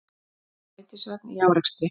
Strætisvagn í árekstri